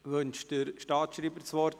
Wünscht der Staatsschreiber das Wort?